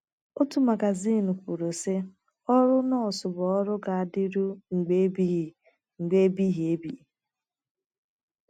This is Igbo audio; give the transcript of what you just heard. Otu magazin kwuru, sị: “ Ọrụ nọọsụ bụ ọrụ ga - adịru mgbe ebighị mgbe ebighị ebi....